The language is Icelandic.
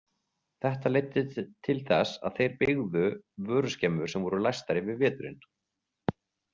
Þetta leiddi til þess að þeir byggðu vöruskemmur sem voru læstar yfir veturinn.